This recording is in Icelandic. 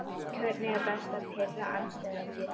Hvernig er best að pirra andstæðinginn?